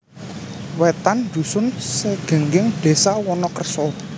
Wetan dusun Segenggeng desa Wonokerso